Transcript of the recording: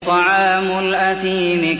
طَعَامُ الْأَثِيمِ